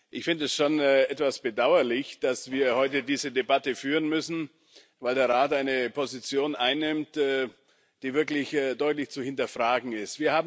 Ich finde es schon etwas bedauerlich, dass wir heute diese Debatte führen müssen, weil der Rat eine Position einnimmt, die wirklich deutlich zu hinterfragen ist.